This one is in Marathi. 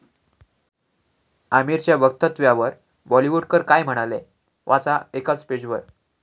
आमिरच्या वक्तव्यावर बॉलिवूडकर काय म्हणाले?, वाचा एकाच पेजवर